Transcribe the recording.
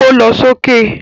Ó lọ sókè